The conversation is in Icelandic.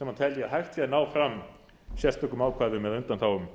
sem telja að hægt sé að ná fram sérstökum ákvæðum eða undanþágum